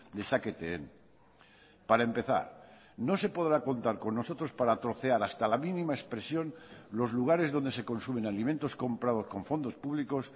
dezaketen para empezar no se podrá contar con nosotros para trocear hasta la mínima expresión los lugares donde se consumen alimentos comprados con fondos públicos